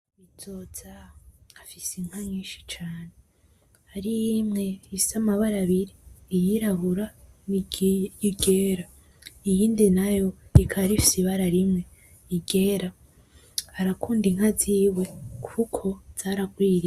Bizoza afise inka nyinshi cane harihimwe ifise amabara abiri iry'irabura, niryera iyindi nayo ikaba ifise ibara rimwe iryera, arakunda inka ziwe kuko zaragwiriye.